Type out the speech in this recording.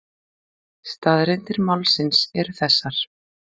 Staðreyndir málsins eru þessar